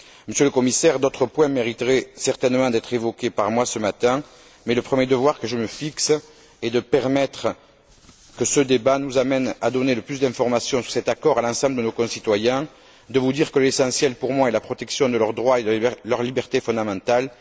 Monsieur le Commissaire, d'autres points mériteraient certainement d'être évoqués par moi ce matin, mais le premier devoir que je me fixe est de permettre que ce débat nous amène à donner le plus d'informations sur cet accord à l'ensemble de nos concitoyens, de vous dire que l'essentiel pour moi est la protection de leurs droits et de leurs libertés fondamentales.